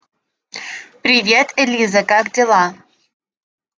привет элиза как дела